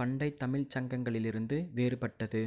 பண்டைத் தமிழ்ச் சங்களில் இருந்து வேறுபட்டது